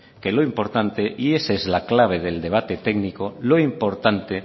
que lo importante y esa es la clave del debate técnico lo importante